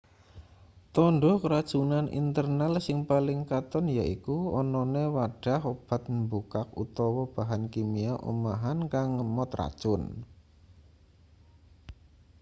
tandha keracunan internal sing paling katon yaiku anane wadhah obat mbukak utawa bahan kimia omahan kang ngemot racun